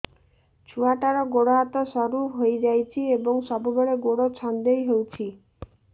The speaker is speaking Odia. ଛୁଆଟାର ଗୋଡ଼ ହାତ ସରୁ ହୋଇଯାଇଛି ଏବଂ ସବୁବେଳେ ଗୋଡ଼ ଛଂଦେଇ ହେଉଛି